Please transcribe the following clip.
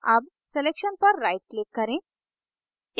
अब selection पर right click करें